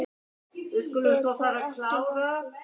Er það ekki nokkuð ljóst?